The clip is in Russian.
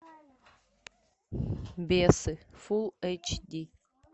бесы фул эйч ди